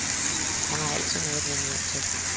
Han har altid noget at vende hjem til.